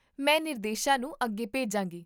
ਮੈਂ ਨਿਰਦੇਸ਼ਾਂ ਨੂੰ ਅੱਗੇ ਭੇਜਾਂਗੀ